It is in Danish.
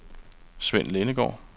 Sven Lindegaard